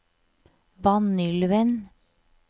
Vanylven